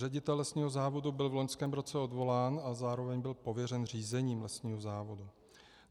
Ředitel lesního závodu byl v loňském roce odvolán a zároveň byl pověřen řízením lesního závodu.